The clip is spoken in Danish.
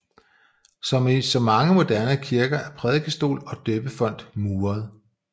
Som i så mange moderne kirker er prædikestol og døbefont muret